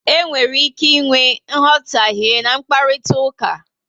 E nwere ike ịnwe nghotahe n'mkparitauka